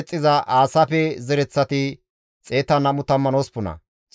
Ooza, Fasahenne Bessaye zereththata,